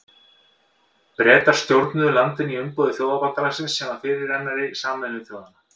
Bretar stjórnuðu landinu í umboði Þjóðabandalagsins sem var fyrirrennari Sameinuðu þjóðanna.